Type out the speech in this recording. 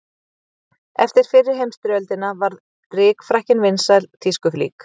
Eftir fyrri heimsstyrjöldina varð rykfrakkinn vinsæl tískuflík.